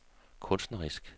kunstnerisk